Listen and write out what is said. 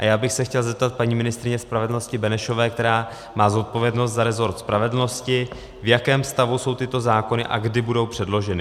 A já bych se chtěl zeptat paní ministryně spravedlnosti Benešové, která má zodpovědnost za rezort spravedlnosti, v jakém stavu jsou tyto zákony a kdy budou předloženy.